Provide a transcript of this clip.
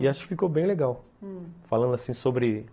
E acho que ficou bem legal, hum, falando assim sobre...